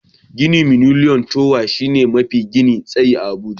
Ginin Miliniyom towa shine gini mafi tsayi a Abuja.